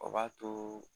O b'a to